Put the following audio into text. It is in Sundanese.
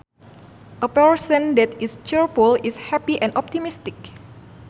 A person that is cheerful is happy and optimistic